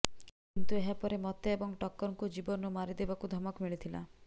କିନ୍ତୁ ଏହା ପରେ ମୋତେ ଏବଂ ଟକରଙ୍କୁ ଜୀବନରୁ ମାରିଦେବାକୁ ଧମକ ମିଳିଥିଲା